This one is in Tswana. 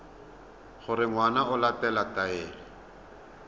gore ngwana o latela taelo